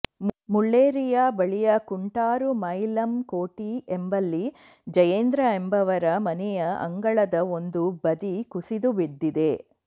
ಮುಳ್ಳೇರಿಯ ಬಳಿಯ ಕುಂಟಾರು ಮಾಯಿಲಂಕೋಟೆ ಎಂಬಲ್ಲಿ ಜಯೇಂದ್ರ ಎಂಬವರ ಮನೆಯ ಅಂಗಳದ ಒಂದು ಬದಿ ಕುಸಿದು ಬಿದ್ದಿದೆ